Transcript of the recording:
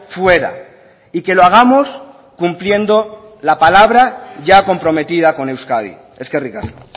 fuera y que lo hagamos cumpliendo la palabra ya comprometida con euskadi eskerrik asko